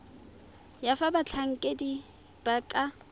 ya fa batlhankedi ba ka